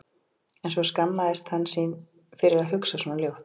En svo skammaðist hann sín fyrir að hugsa svona ljótt.